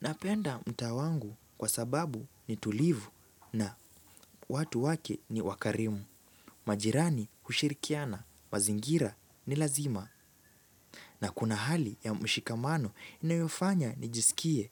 Napenda mtaa wangu kwa sababu ni tulivu na watu wake ni wakarimu. Majirani hushirikiana, mazingira ni lazima. Na kuna hali ya mshikamano inayofanya nijisikie